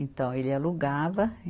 Então, ele alugava.